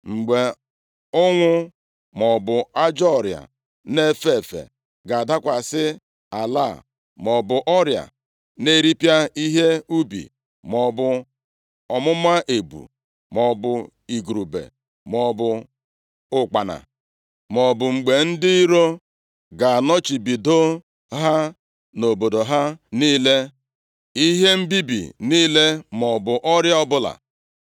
“Mgbe ụnwụ, maọbụ ajọ ọrịa na-efe efe ga-adakwasị ala a, maọbụ ọrịa na-eripịa ihe ubi, maọbụ ọmụma ebu; maọbụ igurube, maọbụ ụkpana, maọbụ mgbe ndị iro ga-anọchibido ha nʼobodo ha niile, ihe mbibi niile maọbụ ọrịa ọbụla,